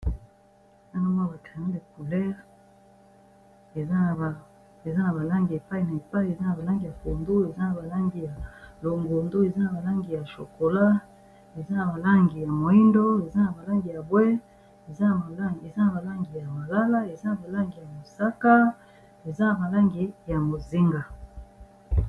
Awa nazomona ba creyo yaba coulere eza na balangi epai na epai eza na balangi ya kondu eza na balangi ya longundu eza na balangi ya chokola eza na balangi ya moindo eza na balangi ya bwe eza na balangi ya malala eza na balangi ya mosaka eza na balangi ya mozinga